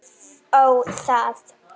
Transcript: Ó, það!